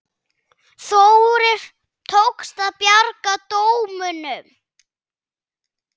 Þórir: Tókst að bjarga dómunum?